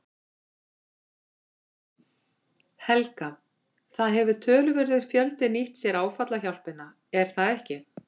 Helga: Það hefur töluverður fjöldi nýtt sér áfallahjálpina er það ekki?